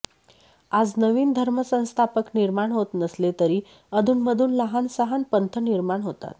आज नवीन धर्मसंस्थापक निर्माण होत नसले तरी अधूनमधून लहानसहान पंथ निर्माण होतात